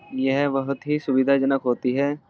यह बोहोत ही सुविधाजनक होती है।